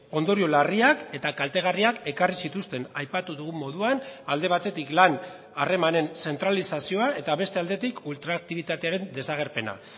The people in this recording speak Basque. ondorio larriak eta kaltegarriak ekarri zituzten aipatu dugun moduan alde batetik lan harremanen zentralizazioa eta beste aldetik ultraaktibitatearen desagerpena